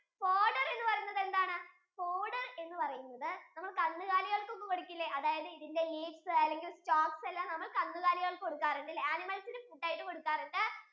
fodder എന്ന് പറയുന്നത് എന്താണ് fodder എന്ന് പറയുന്നത് നമ്മൾ കന്നുകാലികൾക്ക് ഒക്കെ കൊടുക്കിലെ അതായതു ഇതിന്റെ leaves അല്ലെങ്കിൽ stalks എല്ലാം നമ്മൾ കന്നുകാലികൾക്ക് കൊടുക്കാറുണ്ടല്ലേ animals ഇന് food ആയിട്ടു കൊടുക്കാറുണ്ടല്ലേ